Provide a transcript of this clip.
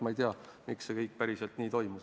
Ma ei tea, miks see kõik päriselt nii toimus.